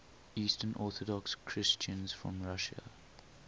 eastern orthodox christians from russia